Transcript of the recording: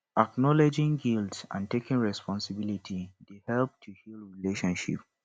acknowledging guilt and taking responsibility dey help to heal relationship